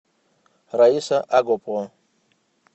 раиса агупова